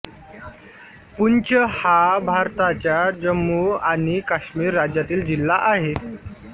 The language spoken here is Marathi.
पूंच हा भारताच्या जम्मू आणि काश्मीर राज्यातील जिल्हा आहे